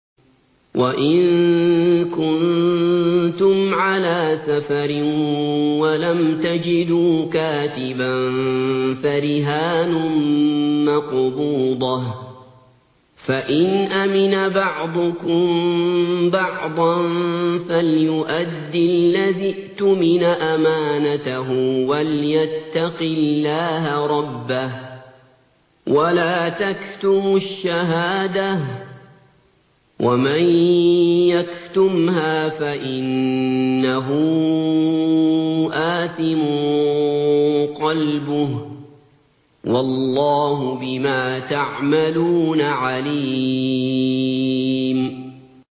۞ وَإِن كُنتُمْ عَلَىٰ سَفَرٍ وَلَمْ تَجِدُوا كَاتِبًا فَرِهَانٌ مَّقْبُوضَةٌ ۖ فَإِنْ أَمِنَ بَعْضُكُم بَعْضًا فَلْيُؤَدِّ الَّذِي اؤْتُمِنَ أَمَانَتَهُ وَلْيَتَّقِ اللَّهَ رَبَّهُ ۗ وَلَا تَكْتُمُوا الشَّهَادَةَ ۚ وَمَن يَكْتُمْهَا فَإِنَّهُ آثِمٌ قَلْبُهُ ۗ وَاللَّهُ بِمَا تَعْمَلُونَ عَلِيمٌ